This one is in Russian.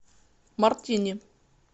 мартини